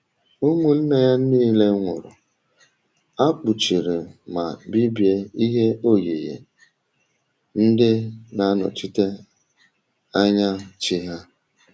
Ụmụnne ya niile nwụrụ, um a kpuchiri ma bibie ihe oyiyi ndị na-anọchite anya chi ya.